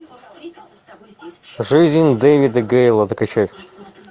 жизнь дэвида гейла закачай